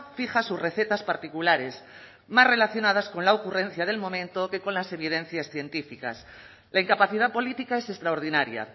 fija sus recetas particulares más relacionadas con la ocurrencia del momento que con las evidencias científicas la incapacidad política es extraordinaria